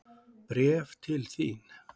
Bréf til þín.